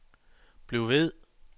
bliv ved